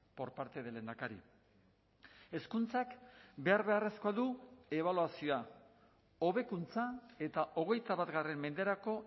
por parte del lehendakari hezkuntzak behar beharrezkoa du ebaluazioa hobekuntza eta hogeita bat menderako